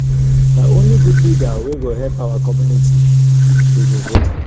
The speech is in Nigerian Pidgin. na only good leader wey go help our community we go vote for.